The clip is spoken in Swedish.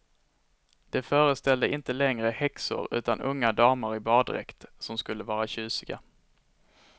De föreställde inte längre häxor utan unga damer i baddräkt, som skulle vara tjusiga.